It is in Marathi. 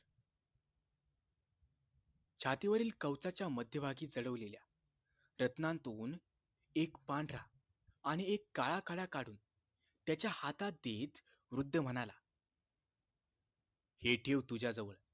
छातीवरील कवचाच्या मध्य भागी जडवलेल्या रत्नातून एक पांढारा आणि एक काळा खडा काढून त्याच्या हातात देत म्हणाला हे ठेव तुज्याजवळ